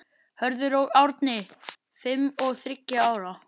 Hörður og Árni, fimm og þriggja ára.